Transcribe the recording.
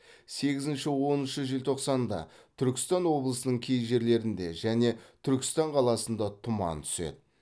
сегізінші оныншы желтоқсанда түркістан облысының кей жерлерінде және түркістан қаласында тұман түседі